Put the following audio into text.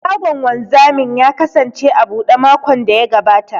Shagon wanzamin ya kasance a buɗe makon da ya gabata.